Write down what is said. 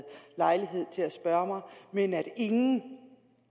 lejlighed til at spørge mig men at ingen